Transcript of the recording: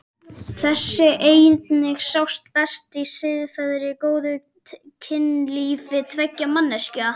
Þessi eining sjáist best í siðferðilega góðu kynlífi tveggja manneskja.